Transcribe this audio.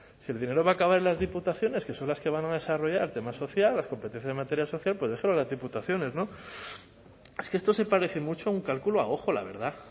si el dinero va a acabar en las diputaciones que son las que van a desarrollar tema social las competencias en materia social pues déjelo a las diputaciones es que esto se parece mucho a un cálculo a ojo la verdad